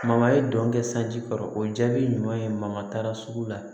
Mama ye don kɛ sanji kɔrɔ o jaabi ɲuman ye ma taa sugu la